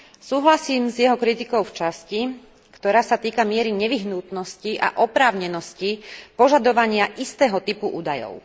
Súhlasím s jeho kritikou v časti, ktorá sa týka miery nevyhnutnosti a oprávnenosti požadovania istého typu údajov.